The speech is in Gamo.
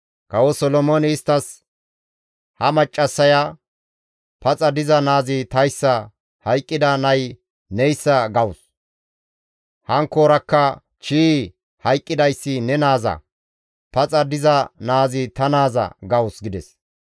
Kawo Solomooney isttas, «Ha maccassaya, ‹Paxa diza naazi tayssa; hayqqida nay neyssa› gawus; hankkoorakka, ‹Chii! Hayqqidayssi ne naaza; paxa diza naazi ta naaza› gawus» gides.